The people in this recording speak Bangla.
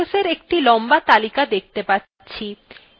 আমরা processeswe একটি লম্বা তালিকা দেখতে পাচ্ছি